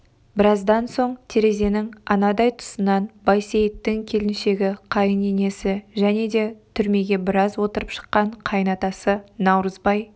біраздан соң терезенің анадай тұсынан байсейіттің келіншегі қайын енесі және де түрмеге біраз отырып шыққан қайын атасы наурызбай